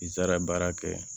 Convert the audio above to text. I taara baara kɛ